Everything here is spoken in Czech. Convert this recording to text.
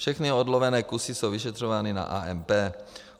Všechny odlovené kusy jsou vyšetřovány na AMP.